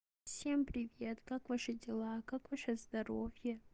всем привет как ваши дела как ваше здоровье